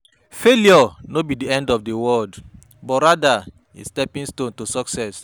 Failure no be di end of di world, but rather a stepping stone to success.